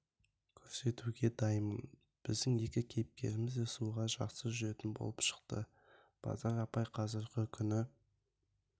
көрсетуге дайынмын біздің екі кейіпкеріміз де суға жақсы жүзетін болып шықты базар апай қазіргі күні